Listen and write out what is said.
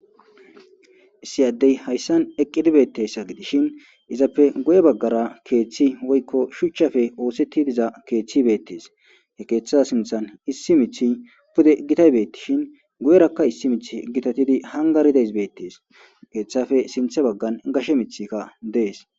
issi addey hayssan eqqidibeetteyssa gidishin izappe guye baggara keeththi woykko shuchchafe oosetti diza keeththi bettes he keeththada sinthan issi mith pude gitaybeettishin guyerakka issi mith gitatidi hangarideys beettees keeththafe sinthe baggan gashe mithikka dees